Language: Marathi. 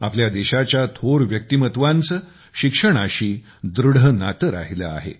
आपल्या देशाच्या थोर व्यक्तीमत्वांचे शिक्षणाशीदृढ नाते राहिले आहे